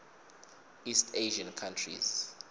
east asian countries